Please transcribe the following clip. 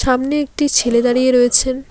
সামনে একটি ছেলে দাঁড়িয়ে রয়েছেন।